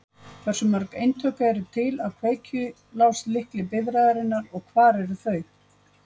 Hversu mörg eintök eru til af kveikjuláslykli bifreiðarinnar og hvar eru þau?